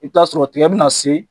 I be t'aa sɔrɔ tigɛ bɛna se